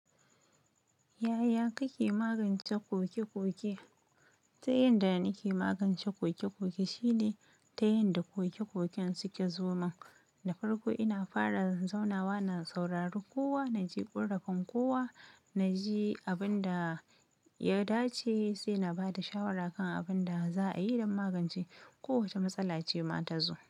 Yaya kake magance ƙoke-ƙoke? Ta yanda nake magance ƙoke-ƙoke shine ta yanda ƙoke-ƙoken suke zoman. Da farko ina fara zanzanawa, na saurari kowa, na ji ƙurrafen kowa, na ji abin da ya dace sai na ba da shawara kan abin da za a yi don magance kowace matsala ce ma ta zo.